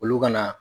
Olu ka na